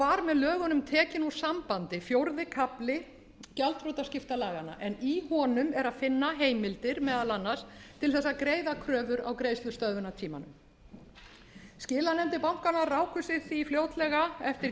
var með lögunum tekinn úr sambandi fjórði kafli gjaldþrotaskiptalaganna en í honum er að finna heimildir meðal annars til þess að greiða kröfur á greiðslustöðvunartímanum skilanefndir bankanna ráku sig því fljótlega eftir